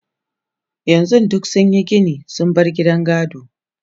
yanzun duk sunyi Gini sun bar gidan gado